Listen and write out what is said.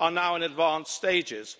are now in advanced stages.